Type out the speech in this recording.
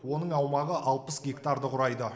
оның аумағы алпыс гектарды құрайды